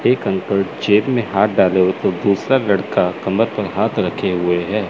एक अंकल जेब में हाथ डाले हुए तो दूसरा लड़का कमर पर हाथ रखे हुए है।